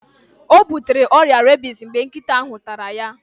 O butere ọrịa rebis mgbe nkịta ahụ tara ya.